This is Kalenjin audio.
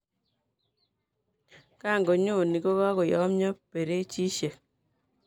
kanganyoni kokakoyomyo perechishek